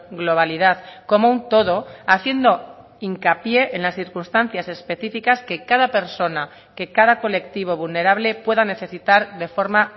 globalidad como un todo haciendo hincapié en las circunstancias específicas que cada persona que cada colectivo vulnerable pueda necesitar de forma